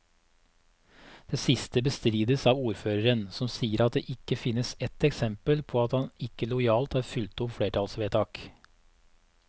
Det siste bestrides av ordføreren, som sier at det ikke finnes ett eksempel på at han ikke lojalt har fulgt opp flertallsvedtak.